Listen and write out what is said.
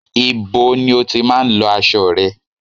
Ibo ni o tí má ń lọ aṣo rẹ?